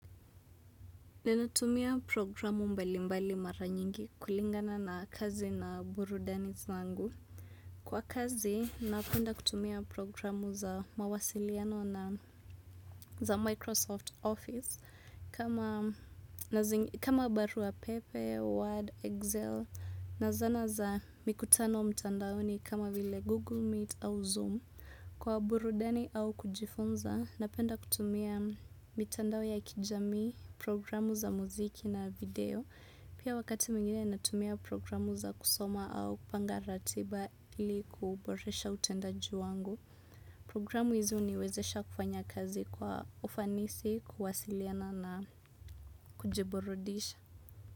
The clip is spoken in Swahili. Ninatumia programu mbalimbali mara nyingi kulingana na kazi na burudani zangu. Kwa kazi napenda kutumia programu za mawasiliano na za microsoft office kama barua pepe word excel na zana za mikutano mtandaoni kama google meet au zoom. Kwa burudani au kujifunza, napenda kutumia mitandao ya kijamii, programu za muziki na video. Pia wakati mwingine natumia programu za kusoma au kupanga ratiba ili kuboresha utendaji wangu. Programu hizi huniwezesha kufanya kazi kwa ufanisi, kuwasiliana na kujiburudisha.